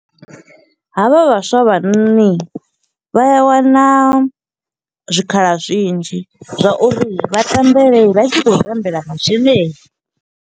Havha vhaswa havhanoni, vha a wana zwikhala zwinzhi zwa uri vha tambele, vha tshi khou tambela masheleni.